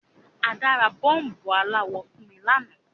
Ada ra bọ́ọ̀bù aláwọ̀ fun mi lanáà